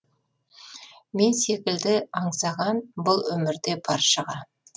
мен секілді аңсаған бұл өмірде баршаға